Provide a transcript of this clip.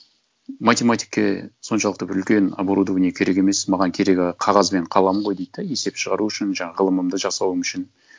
математикке соншалықты бір үлкен оборудование керек емес маған керегі қағаз бен қалам ғой дейді де есеп шығару үшін жаңа ғылымымды жасауым үшін